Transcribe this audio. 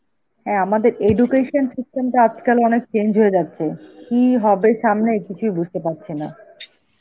হ্যাঁ আমাদের education system তা আজকাল অনেক change হয়ে যাচ্ছে, কি হবে সামনে কিছুই বুঝতে পারছি না.